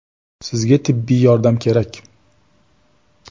Sizga tibbiy yordam kerak.